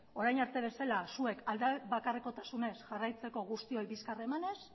orain arte bezala zuek alde bakarrekotasunez jarraitzeko guztioi bizkar emanez